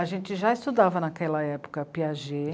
A gente já estudava, naquela época, Piaget.